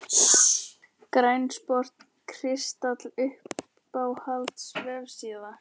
Grænn sport kristall Uppáhalds vefsíða?